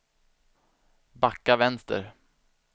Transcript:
backa vänster